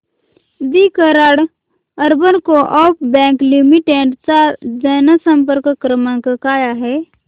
दि Karad urban coop bank limited चा जनसंपर्क क्रमांक काय आहे